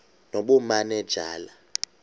nobumanejala